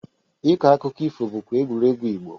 Ịkọ akụkụ ifo bụkwa egwuregwu Igbo.